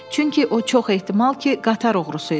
Çünki o çox ehtimal ki, qatar oğrusu idi.